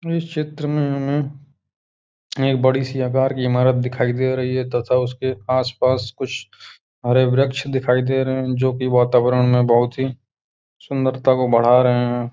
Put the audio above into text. इस क्षेत्र मे हमें एक बड़ी-सी आकार की इमारत दिखाई दे रही है तथा उसके आस-पास कुछ हरे वृक्ष दिखाई दे रहे हैं जो कि वातावरण में बहोत ही सुंदरता को बढ़ा रहे हैं।